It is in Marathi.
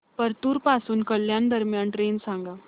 परतूर पासून कल्याण दरम्यान ट्रेन सांगा